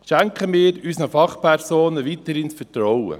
Schenken wir unseren Fachpersonen weiterhin das Vertrauen.